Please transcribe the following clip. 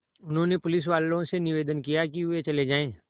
उन्होंने पुलिसवालों से निवेदन किया कि वे चले जाएँ